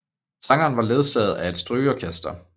Sangeren var ledsaget af et strygeorkester